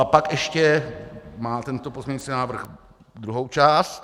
A pak ještě má tento pozměňující návrh druhou část.